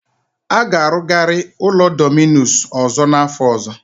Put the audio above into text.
A ga-arụgari ụlọ Dominus ọzọ n'afọ ọzọ.